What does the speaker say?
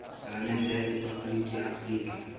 palamente ya rephaboliki ya afrika